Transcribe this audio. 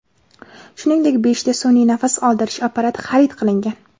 Shuningdek, beshta sun’iy nafas oldirish apparati xarid qilingan.